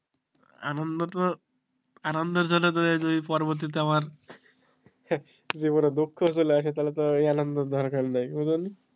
আনন্দ তো আনন্দর জন্য যদি পরবর্তীতে আবার জীবনে দুঃখ চলে আসে তাহলে তো ওই আনন্দের দরকার নাই